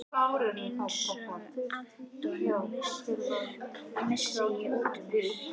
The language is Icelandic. Einsog Anton, missi ég útúr mér.